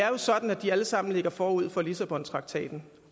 jo er sådan at de alle sammen ligger forud for lissabontraktaten